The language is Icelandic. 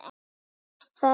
Sést það ekki?